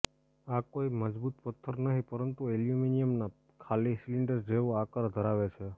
આ કોઇ મજબૂત પથ્થર નહી પરંતુ એલ્યુમિનીયમના ખાલી સિલિન્ડર જેવો આકાર ધરાવે છે